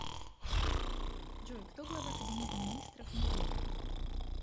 джой кто глава кабинета министров нигерия